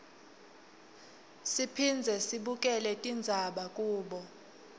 siphindze sibukele tindzaba kubo